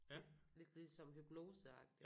Lidt lidt ligesom hypnoseagtigt